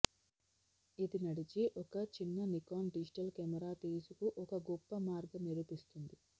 ఇది నడిచి ఒక చిన్న నికాన్ డిజిటల్ కెమెరా తీసుకు ఒక గొప్ప మార్గం నిరూపిస్తుంది